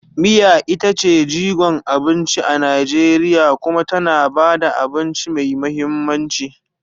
Miya ita ce jigon abinci a Najeriya kuma tana ba da abinci mai mahimmanci.